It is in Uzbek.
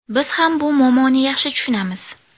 Biz ham bu muammoni yaxshi tushunamiz.